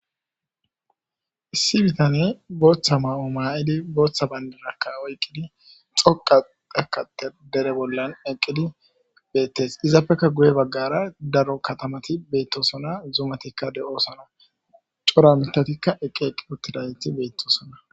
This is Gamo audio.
sibitanne booththa ma7o maa7idi booththa bayndirakka oyqqidi xoqa dekate dere bollan eqqidi beettes izapfekka guye baggara daro katamati beettosona zuumatikka de7oosona cora mitatikka eqqi eqqi uttidayeti beettosona